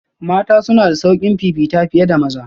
Mata suna da sauƙin fifita fiye da maza